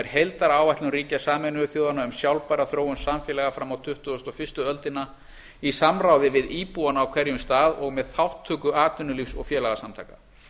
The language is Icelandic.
heildaráætlun ríkja sameinuðu þjóðanna um sjálfbæra þróun samfélaga fram á tuttugustu og fyrstu öldina í samráði við íbúana á hverjum stað og með þátttöku atvinnulífs og félagasamtaka